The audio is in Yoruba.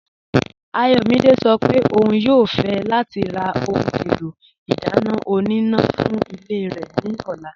Ayọ̀mídẹ̀ sọ́ pé ọ̀un yóò fẹ̀ lati rà ohun èlò idána ọ̀nínà fún ilẹ̀ rẹ ni ọ̀là.